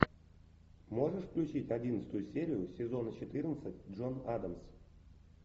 можешь включить одиннадцатую серию сезона четырнадцать джон адамс